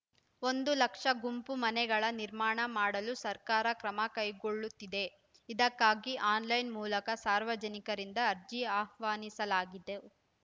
ಒಂದು ಲಕ್ಷ ಗುಂಪು ಮನೆಗಳ ನಿರ್ಮಾಣ ಮಾಡಲು ಸರ್ಕಾರ ಕ್ರಮ ಕೈಗೊಳ್ಳುತ್ತಿದೆ ಇದಕ್ಕಾಗಿ ಆನ್‌ಲೈನ್‌ ಮೂಲಕ ಸಾರ್ವಜನಿಕರಿಂದ ಅರ್ಜಿ ಆಹ್ವಾನಿಸಲಾಗಿದೆ